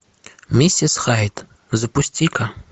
миссис хайд запусти ка